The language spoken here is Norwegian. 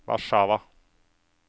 Warszawa